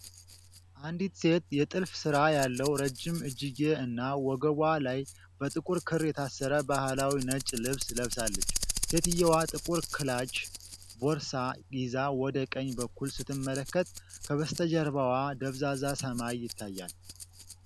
አንዲት ሴት የጥልፍ ስራ ያለው ረጅም እጅጌ እና ወገቧ ላይ በጥቁር ክር የታሰረ ባህላዊ ነጭ ልብስ ለብሳለች። ሴትየዋ ጥቁር ክላች ቦርሳ ይዛ ወደ ቀኝ በኩል ስትመለከት፤ ከበስተጀርባዋ ደብዛዛ ሰማይ ይታያል።